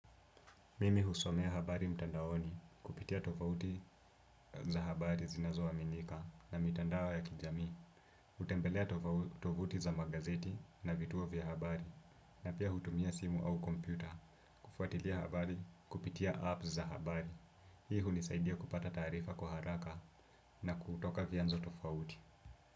Mimi husomea habari mtandaoni, kupitia tofauti za habari zinazoaminika na mitandao ya kijamii. Hutembelea tovuti za magazeti na vituo vya habari, na pia hutumia simu au kompyuta. Kufuatilia habari, kupitia apps za habari. Hii hunisaidia kupata taarifa kwa haraka na kutoka vyanzo tofauti.